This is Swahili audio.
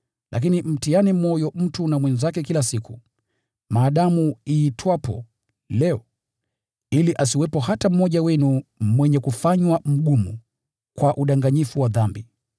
Lakini mtiane moyo mtu na mwenzake kila siku, maadamu iitwapo Leo, ili asiwepo hata mmoja wenu mwenye kufanywa mgumu kwa udanganyifu wa dhambi.